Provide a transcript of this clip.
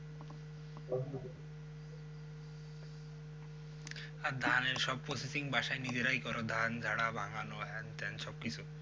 আর ধানের সব profession বাসায় নিজেরাই করো? ধান ঝাড়া ভাঙ্গানো হ্যান ত্যান সব কিছু?